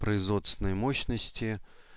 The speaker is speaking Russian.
производственные мощности